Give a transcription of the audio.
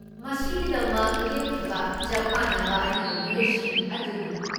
ꯃꯁꯤꯒꯤꯗꯃꯛ ꯂꯦꯞꯈꯤꯕ ꯆꯞ ꯃꯥꯟꯅꯕ ꯑꯔꯤꯕ ꯃꯤꯑꯣꯏꯁꯤꯡ ꯑꯗꯨꯅꯤ ꯫